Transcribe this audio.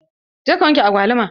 Je ka wanke agwaluman!